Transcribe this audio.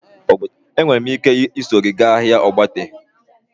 Enwere m ike iso gị gaa ahịa ogbete?